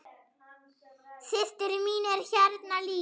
Systir mín er hérna líka.